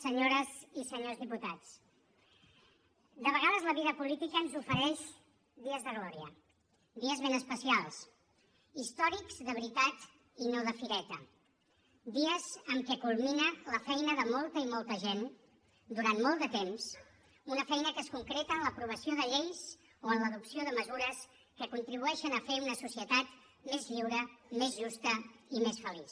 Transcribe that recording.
senyores i senyors diputats de vegades la vida política ens ofereix dies de glòria dies ben especials històrics de veritat i no de fireta dies en què culmina la feina de molta i molta gent durant molt de temps una feina que es concreta en l’aprovació de lleis o en l’adopció de mesures que contribueixen a fer una societat més lliure més justa i més feliç